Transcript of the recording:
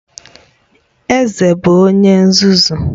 Eze bụ onye nzuzu